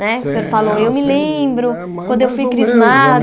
Né o senhor falou, eu me lembro, quando eu fui crismado...